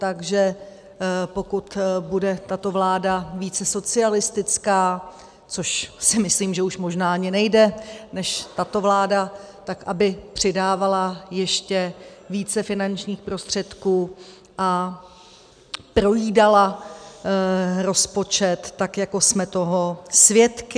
Takže pokud bude tato vláda více socialistická, což si myslím, že už možná ani nejde, než tato vláda, tak aby přidávala ještě více finančních prostředků a projídala rozpočet, tak jako jsme toho svědky.